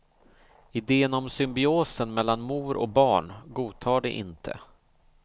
Idén om symbiosen mellan mor och barn godtar de inte.